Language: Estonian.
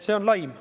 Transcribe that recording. See on laim.